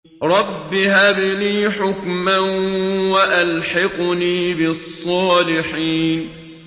رَبِّ هَبْ لِي حُكْمًا وَأَلْحِقْنِي بِالصَّالِحِينَ